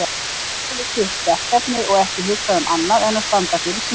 Hver hafði sitt verkefni og ekki hugsað um annað en að standa fyrir sínu.